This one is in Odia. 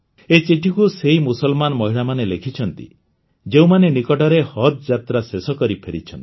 ଏହି ଚିଠିକୁ ସେହି ମୁସଲମାନ ମହିଳାମାନେ ଲେଖିଛନ୍ତି ଯେଉଁମାନେ ନିକଟରେ ହଜ୍ ଯାତ୍ରା ଶେଷକରି ଫେରିଛନ୍ତି